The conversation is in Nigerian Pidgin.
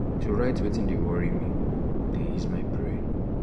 to write wetin dey dey worry me dey ease my brain. um